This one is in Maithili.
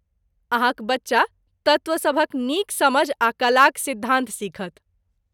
अहाँक बच्चा तत्त्व सभक नीक समझ आ कलाक सिद्धान्त सीखत।